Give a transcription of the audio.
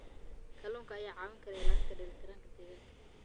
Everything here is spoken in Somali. Kalluunka ayaa kaa caawin kara ilaalinta dheelitirnaanta deegaanka.